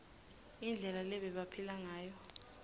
indlela lebebaphila ngayo